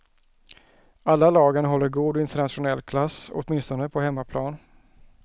Alla lagen håller god internationell klass, åtminstone på hemmaplan.